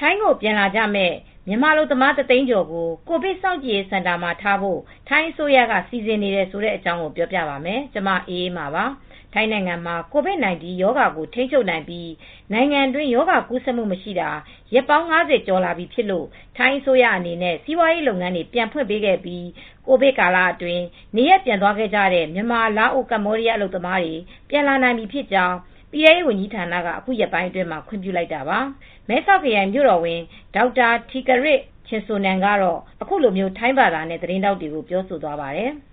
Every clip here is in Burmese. ထိုင်းကိုပြန်လာကြမယ့် မြန်မာအလုပ်သမား ၁၀၀,၀၀၀ ကျော်ကို ကိုဗစ် စောင့်ကြည့်စင်တာတွေမှာထားဖို့ ထိုင်းအစိုးရက စီစဉ်နေပါတယ်။ အပြည့်အစုံကို ထိုင်းအခြေစိုက် ဗွီအိုအေ မြန်မာပိုင်း သတင်းထောက် မအေးအေးမာ တင်ပြပေးထားပါတယ်။ ထိုင်းနိုင်ငံမှာ COVID-19 ရောဂါကို ထိန်းချုပ်နိုင်ပြီး နိုင်ငံအတွင်း ရောဂါကူးဆက်မှု မရှိတာ ရက်ပေါင်း ၅၀ ကျော်လာပြီဖြစ်လို့ ထိုင်းအစိုးရအနေနဲ့ စီးပွားရေး လုပ်ငန်းတွေ ပြန်ဖွင့်ပေးခဲ့ပြီး ကိုဗစ်ကာလအတွင်း နေရပ်ပြန်သွားခဲ့ကြတဲ့ မြန်မာ၊ လာအို၊ ကမ္ဘောဒီးယား အလုပ်သမားတွေ ပြန်လာနိုင်ပြီဖြစ်ကြောင်း ပြည်ထဲရေး ဝန်ကြီးဌာနက အခုရက်ပိုင်းအတွင်းမှာ ခွင့်ပြုလိုက်တာပါ။ မဲဆောက်ခရိုင် မြို့တော်ဝန် Dr. Terdkiat Chinsornan ကတော့ သတင်းထောက်တွေကို ထိုင်းဘာသာနဲ့ အခုလိုပြောသွားပါတယ်။ “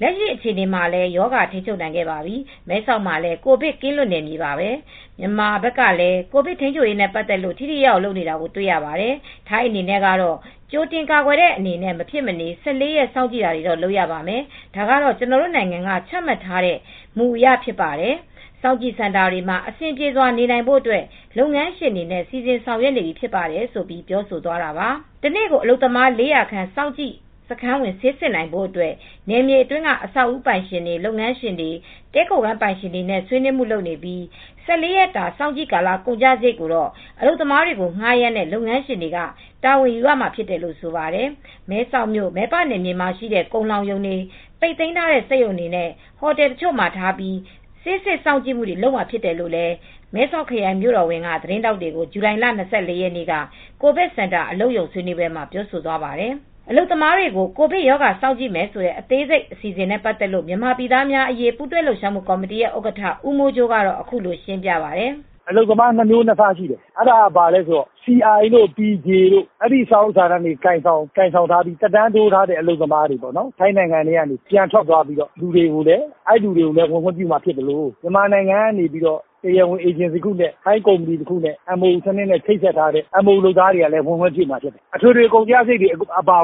လက်ရှိအခြေအနေမှာလည်း ရောဂါထိန်းချုပ်နိုင်ပြီ။ မဲဆောက်မှာလည်း ကိုဗစ်ကင်းလွတ်နယ်မြေပါပဲ။ မြန်မာဘက်ကလည်း ကိုဗစ်ထိန်းချုပ်ရေးနဲ့ ပတ်သက်လို့ ထိထိရောက်ရောက် လုပ်နေတာ တွေ့ရပါတယ်။ ထိုင်းနိုင်ငံအနေနဲ့ကတော့ ကြိုတင်ကာကွယ်တဲ့ အနေနဲ့ မဖြစ်မနေ ၁၄ ရက် စောင့်ကြည့်တာတော့ လုပ်ရပါမယ်။ ဒါကတော့ ကျနော်တို့နိုင်ငံက ချမှတ်ထားတဲ့ မူအရ ဖြစ်ပါတယ်။ စောင့်ကြည့်စင်တာတွေမှာ အဆင်ပြေစွာ နေနိုင်ဖို့ လုပ်ငန်းရှင်တွေနဲ့ စီစဉ်ဆောင်ရွက်နေပြီ ဖြစ်ပါတယ်။” တနေ့ကို အလုပ်သမား ၄၀၀ စောင့်ကြည့်စခန်းဝင် ဆေးစစ်နိုင်ဖို့အတွက် နယ်မြေအတွင်းက အဆောက်အဦပိုင်ရှင်တွေ၊ လုပ်ငန်းရှင်တွေ၊ တည်းခိုခန်းပိုင်ရှင်တွေနဲ့ ဆွေးနွေးမှုလုပ်နေပြီး ၁၄ ရက်ကြာ စောင့်ကြည့်ကာလ ကုန်ကျစရိတ်ကို အလုပ်သမားတွေကို ငှားရမ်းတဲ့ လုပ်ငန်းရှင်တွေက တာဝန်ယူရမှာလို့လည်း ဆိုပါတယ်။ မဲဆောက်မြို့ မယ်ပနယ်မြေမှာရှိတဲ့ ကုန်လှောင်ရုံတွေ၊ ပိတ်သိမ်းထားတဲ့ စက်ရုံတွေနဲ့ ဟိုတယ်တချို့မှာထားပြီး ဆေးစစ်စောင့်ကြည့်မှုတွေ လုပ်မှာဖြစ်တယ်လို့ မဲဆောက်ခရိုင် မြို့တော်ဝန် Dr. Terdkiat Chinsornan က သတင်းထောက်တွေကို ဇူလိုင်လ ၂၄ ရက်နေ့ ကိုဗစ်စင်တာ အလုပ်ရုံဆွေးနွေးပွဲမှာ ပြောသွားပါတယ်။ အလုပ်သမားတွေကို ကိုဗစ်ရောဂါ စောင့်ကြည့်မယ့် အစီအစဉ် အသေးစိတ်ကို မြန်မာပြည်သားများအရေး ပူးတွဲလှုပ်ရှားမှု ကော်မတီ ဥက္ကဋ္ဌ ဦးမိုးကြိုးက အခုလို ရှင်းပြပါတယ်။ “MOU နဲ့ ပြန်ဝင်လာကြမယ့် နိုင်ငံခြားသား အလုပ်သမား နှစ်သန်းကျော်၊ အလုပ်သမား နှစ်မျိုးနှစ်စားရှိတယ်။ CI တို့ PJ စာအုပ်စာတမ်း ကိုင်ဆောင်ပြီး သက်တမ်းတိုးထားတဲ့ ထိုင်းနိုင်ငံက ပြန်သွားတဲ့ သူတို့ကိုလည်း ပြန်ဝင်ခွင့်ပြုမှာ ဖြစ်သလို မြန်မာနိုင်ငံက တရားဝင်အေဂျင်စီ ထိုင်းအေဂျင်စီတို့နဲ့ အလုပ်လုပ်ကြမယ့် MOU ဝင်ကြမယ့်သူတွေကို ခွင့်ပြုပေးမှာဖြစ်တယ်။ အထွေထွေကုန်ကျစရိတ်က ရွှေ့ပြော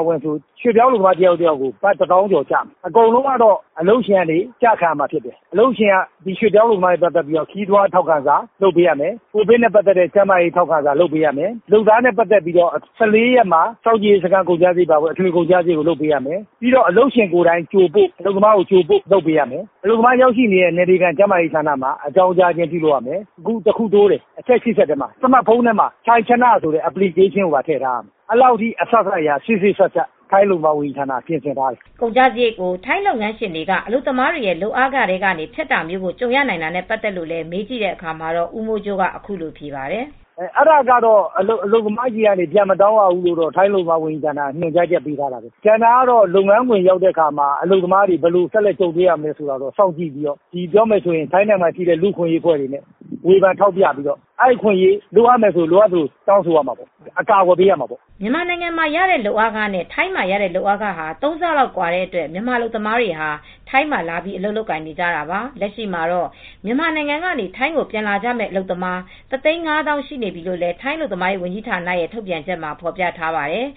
င်းအလုပ်သမား တယောက်ကို ဘတ် ၁၀,၀၀၀ ကျော် ကျမယ်။ အကုန်လုံး အလုပ်ရှင်က ကျခံရမယ်။ “အလုပ်ရှင်က အလုပ်သမားနဲ့ ပတ်သက်တဲ့ ခရီးသွားထောက်ခံစာ၊ ကိုဗစ်နဲ့ပတ်သက်တဲ့ ကျန်းမာရေး ထောက်ခံစာ လုပ်ပေးရမယ်။ လုပ်သားတွေရဲ့ ၁၄ ရက်စာ စောင့်ကြည့် ကုန်ကျစရိတ် လုပ်ပေးရမယ်။ အလုပ်သမားတွေကို အလုပ်ရုံရောက်တဲ့အထိ ကြိုပို့လုပ်ပေးရမယ်။ နောက်ဆုံးအချက်တချက် တိုးတယ်၊ စမတ်ဖုန်းတွေမှာ ထိုင်ချနလို့ခေါ်တဲ့ Application ထည့်ထားရမယ်။ ထိုင်းအလုပ်သမားဝန်ကြီးဌာနက အဲဒီလို စေ့စေ့စပ်စပ် လုပ်ထားတယ်။” ကုန်ကျစရိတ်ကို ထိုင်းလုပ်ငန်းရှင်တွေက အလုပ်သမားတွေရဲ့ လုပ်အားခတွေထဲက ဖြတ်တာမျိုးကို ကြုံရနိုင်တာနဲ့ ပတ်သက်လို့လည်း မေးကြည့်တဲ့အခါမှာတော့ ဦးမိုးကြိုးက အခုလိုဖြေပါတယ်။ “အလုပ်သမားတွေဆီက ပြန်မတောင်းရဘူးလို့ ထိုင်းအလုပ်သမားဝန်ကြီးဌာနက ညွှန်ကြားချက် ထုတ်ထားတယ်။ လုပ်ငန်းခွင်ကို ရောက်တဲ့အခါ အလုပ်သမားတွေ ဘယ်လိုကြုံတွေ့မလဲဆိုတာ အဲဒါကိုတော့ လူ့အခွင့်အရေး စောင့်ကြည့်တဲ့အဖွဲ့တွေက လိုအပ်သလို စောင့်ကြည့်ပြီး အကာအကွယ် ပေးရမှာပေါ့။” မြန်မာနိုင်ငံမှာရတဲ့ လုပ်အားခနဲ့ ထိုင်းမှာရတဲ့ လုပ်အားခဟာ ၃ ဆလောက် ကွာတဲ့အတွက် မြန်မာအလုပ်သမားတွေ ထိုင်းမှာ အလုပ်လာလုပ်ကြတာပါ။ လက်ရှိမှာတော့ မြန်မာနိုင်ငံကနေ ထိုင်းကို ပြန်လာကြမယ့် အလုပ်သမား ၁၅၀,၀၀၀ ရှိနေပြီလို့ ထိုင်းအလုပ်သမားရေးဌာနရဲ့ ထုတ်ပြန်ချက်မှာ ဖော်ပြထားပါတယ်